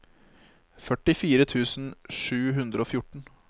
førtifire tusen sju hundre og fjorten